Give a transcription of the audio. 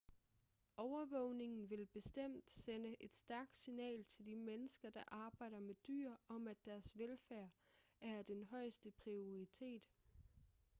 overvågningen vil bestemt sende et stærkt signal til de mennesker der arbejder med dyr om at deres velfærd er af den højeste prioriteret